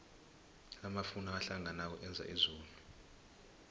amafu nakahlanganako enza izulu